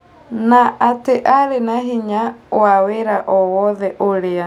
Na atĩ arĩ na hinya wa wĩra o wothe ũrĩa